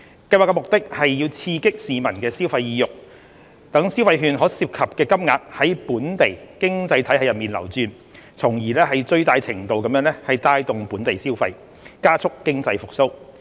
計劃的目的是刺激市民消費意欲，讓消費券所涉及的金額在本地經濟體系內流轉，從而最大程度帶動本地消費，加速經濟復蘇。